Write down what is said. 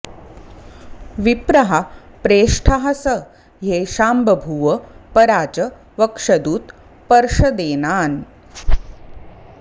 विप्रः प्रेष्ठः स ह्येषां बभूव परा च वक्षदुत पर्षदेनान्